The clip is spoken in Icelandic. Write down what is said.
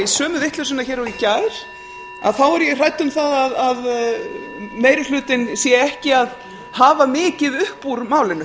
sömu vitleysuna hér og í gær þá er ég hrædd um það að meiri hlutinn sé ekki að hafa mikið upp úr málinu